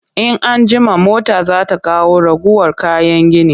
In an jima mota za ta kawo ragowar kayan gini